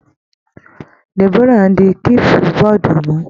Deborah ń di kílípú bọọ̀dù mú.